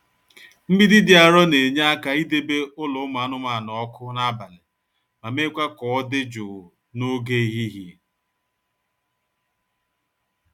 Mgbidi dị arọ na-enye aka idebe ụlọ ụmụ anụmanụ ọkụ n'abalị ma mekwaa ka ọ dị jụụ n'oge ehihie.